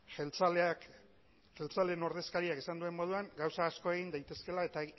jeltzaleen ordezkariak esan duen moduan gauza asko egin daitezkeela eta